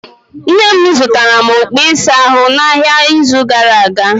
Nne m zụtara okpu ịsa ahụ n'ahịa n'izu gara aga.